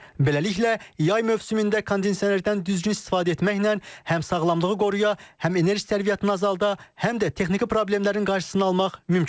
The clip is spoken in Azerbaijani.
Beləliklə, yay mövsümündə kondisionerdən düzgün istifadə etməklə həm sağlamlığı qoruya, həm enerji sərfiyyatını azalda, həm də texniki problemlərin qarşısını almaq mümkündür.